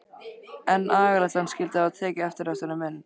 En agalegt að hann skyldi hafa tekið eftir þessari mynd.